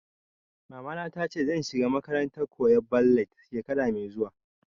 Mamana ta ce zan shiga makarantar koyan ballad shekara mai zuwa